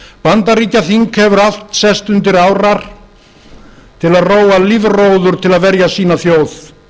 bandaríkjaþing hefur allt sest undir árar til að róa lífróður til að verja sína þjóð